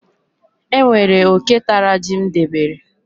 E nwere oke tara ji m debere.